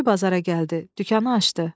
Dəmirçi bazara gəldi, dükanı açdı.